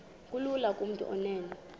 kulula kumntu onen